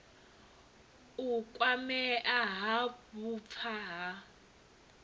u kwamea ha vhupfa ha